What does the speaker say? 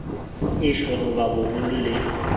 iswe ho ba baholo le